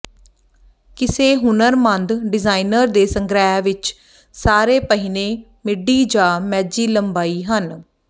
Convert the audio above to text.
ਕਿਸੇ ਹੁਨਰਮੰਦ ਡਿਜ਼ਾਇਨਰ ਦੇ ਸੰਗ੍ਰਹਿ ਵਿੱਚ ਸਾਰੇ ਪਹਿਨੇ ਮਿਡੀ ਜਾਂ ਮੈਜੀ ਲੰਬਾਈ ਹਨ